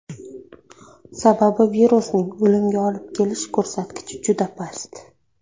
Sababi virusning o‘limga olib kelish ko‘rsatkichi juda past.